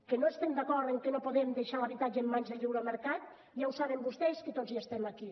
que no estem d’acord en que no podem deixar l’habitatge en mans del lliure mercat ja ho saben vostès que tots hi estem aquí